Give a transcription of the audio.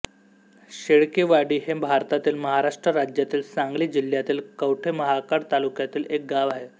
शेळकेवाडी हे भारतातील महाराष्ट्र राज्यातील सांगली जिल्ह्यातील कवठे महांकाळ तालुक्यातील एक गाव आहे